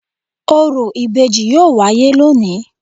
Orò ibeji yoo waye loni